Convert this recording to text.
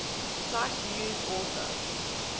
cite news author